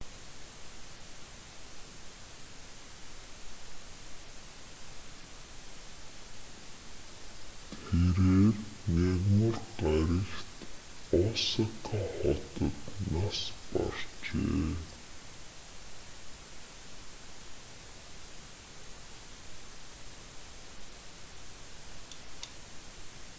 тэрээр мягмар гарагт осака хотод нас баржээ